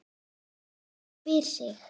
Maður spyr sig.